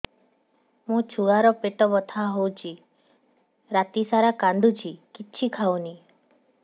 ମୋ ଛୁଆ ର ପେଟ ବଥା ହଉଚି ରାତିସାରା କାନ୍ଦୁଚି କିଛି ଖାଉନି